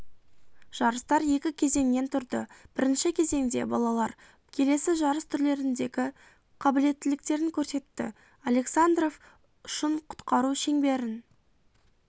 жарыстар екі кезеңнен тұрды бірінші кезеңде балалар келесі жарыс түрлеріндегі қабілеттіліктерін көрсетті александров ұшын құтқару шеңберін